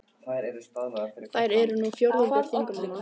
Þær eru nú fjórðungur þingmanna